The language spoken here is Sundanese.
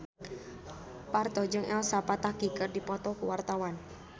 Parto jeung Elsa Pataky keur dipoto ku wartawan